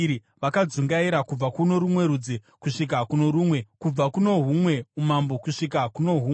vakadzungaira kubva kuno rumwe rudzi kusvika kuno rumwe, kubva kuno humwe umambo kusvika kuno humwe.